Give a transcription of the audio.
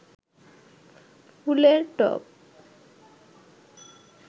ফুলের টব